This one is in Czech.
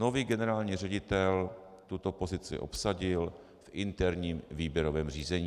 Nový generální ředitel tuto pozici obsadil v interním výběrovém řízení.